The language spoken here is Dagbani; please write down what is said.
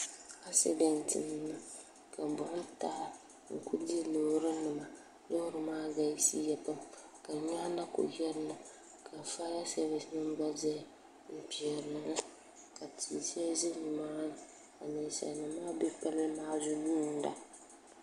akisidantɛ niŋ ka boɣim taai n kuli di lori nima lori maa galisiya ka niriba na kuli yirina ni ƒaya sabisi bɛni n kpɛhirili ka tihi shɛli ʒɛ ni maa ni ka nɛsanim maa bɛ pali maa zuɣ yuna